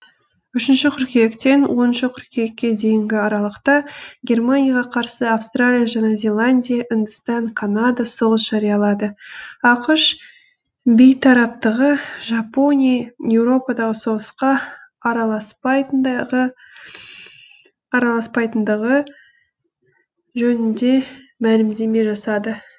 үшінші қыркүйектен оныншы қыркүйекке дейінгі аралықта германияға қарсы австралия жаңа зеландия үндістан канада соғыс жариялады ақш бейтараптығы жапония еуропадағы соғысқа араласпайтындығы жөнінде мәлімдеме жасады